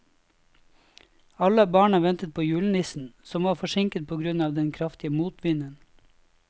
Alle barna ventet på julenissen, som var forsinket på grunn av den kraftige motvinden.